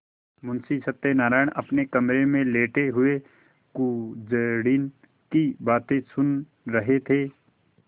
मुंशी सत्यनारायण अपने कमरे में लेटे हुए कुंजड़िन की बातें सुन रहे थे